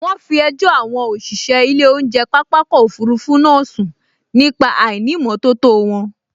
Wọ́n fi ẹjọ́ àwọn òṣìṣẹ́ ilé oúnjẹ pápákọ̀ òfurufú náà sun nípa àìnìmótótó wọn